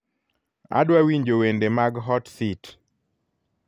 adwa winjo wende mag hot seat